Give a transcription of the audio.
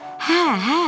Hə, hə.